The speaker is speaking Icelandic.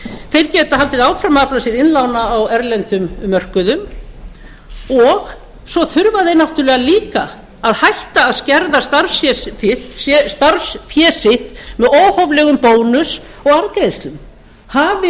þeir geta haldið áfram að afla sér innlána á erlendum mörkuðum og svo þurfa þeir náttúrlega líka að hætta að skerða starfsfé sitt með óhóflegum bónus og arðgreiðslum hafi